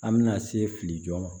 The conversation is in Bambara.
An bɛna se fili jɔn ma